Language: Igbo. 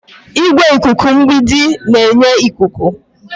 Igwe ikuku mgbidi ga-enye ikuku.